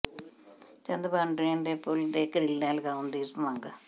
Chandbhan drain ਦੇ ਪੁਲ ਤੇ ਗਰਿੱਲਾਂ ਲਗਾਉਣ ਦੀ ਮੰਗ